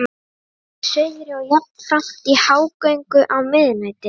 Þá eru þær í suðri og jafnframt í hágöngu á miðnætti.